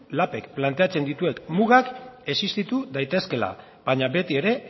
lap k planteatzen dituen mugak existitu daitezkeela baina betiere